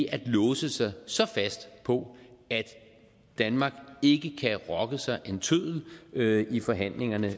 at låse sig så fast på at danmark ikke kan rokke sig en tøddel i forhandlingerne